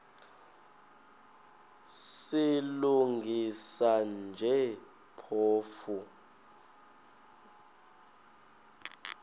silungisa nje phofu